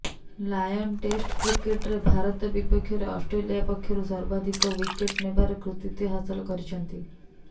lion test କ୍ରିକେଟରେ ଭାରତ ବିପକ୍ଷରେ Australia ପକ୍ଷରୁ ସର୍ବାଧିକ ଓ୍ବିକେଟ ନେବାର କୃତିତ୍ବ ହାସଲ କରିଛନ୍ତି